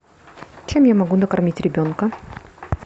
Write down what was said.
чем я могу накормить ребенка